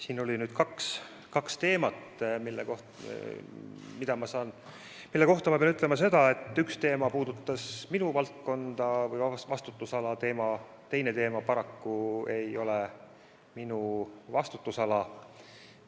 Siin oli nüüd kaks teemat, mille kohta ma pean ütlema seda, et üks teema puudutas minu valdkonda või vastutusala, teine teema paraku ei ole minu vastutusala.